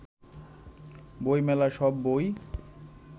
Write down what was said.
বই মেলার সব বই